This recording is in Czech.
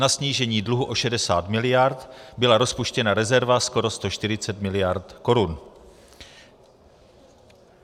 Na snížení dluhu o 60 miliard byla rozpuštěna rezerva skoro 140 miliard korun.